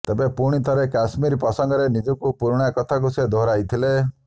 ତେବେ ପୁଣିଥରେ କାଶ୍ମୀର ପ୍ରସଙ୍ଗରେ ନିଜର ପୁରୁଣା କଥାକୁ ସେ ଦୋହରାଇଥିଲେ